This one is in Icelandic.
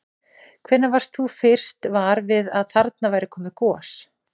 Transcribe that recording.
Hvenær varst þú fyrst var við að þarna væri komið gos?